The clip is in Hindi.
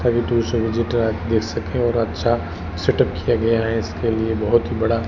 और अच्छा सेटअप किया गया है इसके लिए बहोत ही बड़ा--